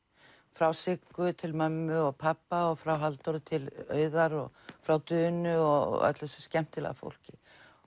frá Siggu til mömmu og pabba og frá Halldóri til Auðar og frá Dunu og öllu þessu skemmtilega fólki